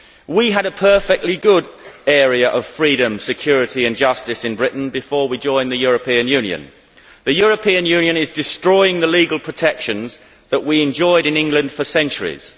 We had a perfectly good area of freedom, security and justice in Britain before we joined the European Union. The European Union is destroying the legal protections that we enjoyed in England for centuries.